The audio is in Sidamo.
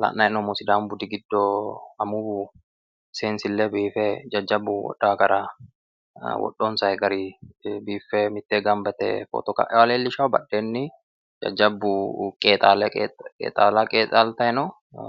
La'nayi hee'noommohu sidaamu budi giddo amuwu seensille biife jajjabbu wodhonsa gari biiffe mittee gamba yite footo kaewoota leellishawo. badheenno jajjabbu qeexaala qeexaa'llayi no